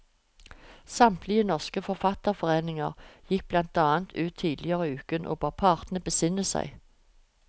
Samtlige norske forfatterforeninger gikk blant annet ut tidligere i uken og ba partene besinne seg.